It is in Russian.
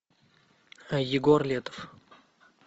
егор летов